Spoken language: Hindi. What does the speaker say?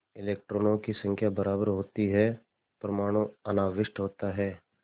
इलेक्ट्रॉनों की संख्या बराबर होती है परमाणु अनाविष्ट होता है